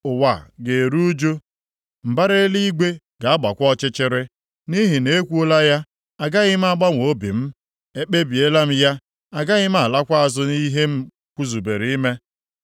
Ụwa ga-eru ụjụ, mbara eluigwe ga-agbakwa ọchịchịrị. Nʼihi na ekwuola ya, agaghị m agbanwe obi m. Ekpebiela m ya, agaghị m alakwa azụ nʼihe m zubere ime.”